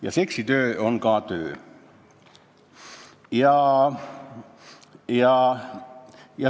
Ja seksitöö on ka töö.